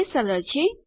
તે સરળ છે